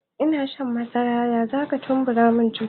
In nasha madara da yawa zata kumburamin ciki